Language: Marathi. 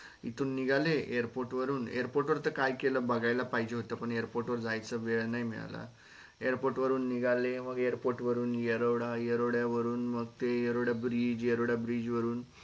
इथून निघाले airport वरून airport वर त काय केल बघायला पाहिजे होत पण airport जायचं वेळ नाई मिळाला airport निघाले मग airport वरून एरोडा एरोडा वरून मग ते एरोडा bridge एरोड bridge वरून